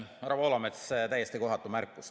Härra Poolamets, täiesti kohatu märkus.